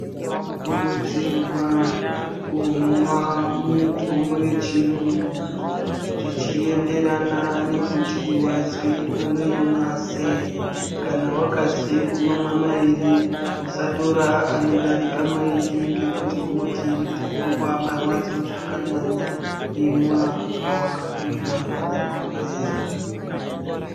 Tinokurudzirwa kumwa mitombo yechirungu zvichienderana nekuti wazi unoimwa sei, kana wakazi unomwa mairi usatora anodarika mairi ngekuti unoti ndirikuzwa marwadzo zvakanyanya imwai zvawakabhiirwa nadhokodheya.